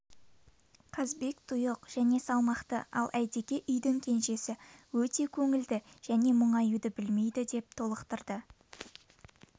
қазбек тұйық және салмақты ал әйтеке үйдің кенжесі өте көңілді және мұңаюды білмейді деп толықтырды